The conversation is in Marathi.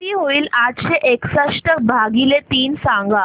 किती होईल आठशे एकसष्ट भागीले तीन सांगा